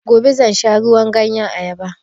Gobe zan sha ruwan ganyen ayaba